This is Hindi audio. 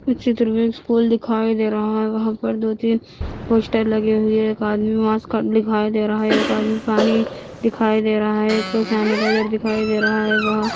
इस चित्र में स्कूल दिखाई दे रहा है वहां पर दो-तीन पोस्टर लगे हुए हैं एक आदमी मार्क्स दिखाई दे रहा है एक आदमी अपनी दिखाई दे रहा है एक सैनिटाइजर दिखाई दे रहा है वहां--